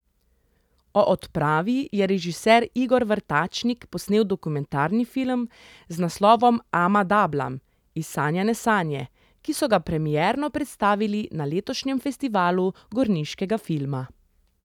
O odpravi je režiser Igor Vrtačnik posnel dokumentarni film z naslovom Ama Dablam, izsanjane sanje, ki so ga premierno predstavili na letošnjem festivalu gorniškega filma.